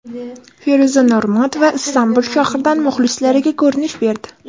Feruza Normatova Istanbul shahridan muxlislariga ko‘rinish berdi.